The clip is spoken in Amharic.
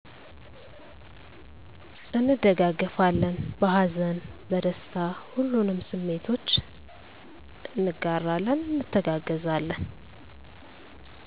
እንደጋገፋለን በሀዘን፣ በደስታ ሁሉንም ስሜቶች እጋራለን እንተጋገዛለን